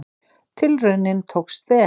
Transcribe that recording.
Tilraunin tókst vel.